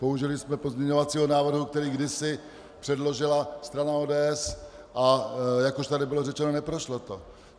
Použili jsme pozměňovacího návrhu, který kdysi předložila strana ODS, a jak už tady bylo řečeno, neprošlo to.